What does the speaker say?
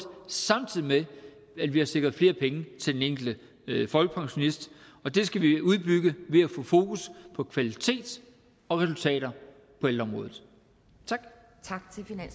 samtidig med at vi har sikret flere penge til den enkelte folkepensionist og det skal vi udbygge ved at få fokus på kvalitet og resultater på ældreområdet tak